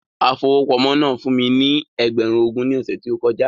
Afowópamọ́ náà fún mí ní ẹgbẹ̀run ogún ní ọsẹ ti o kọjá